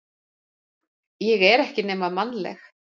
Ég er ekki nema mannleg.